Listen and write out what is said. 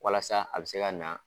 Walasa a bɛ se ka na.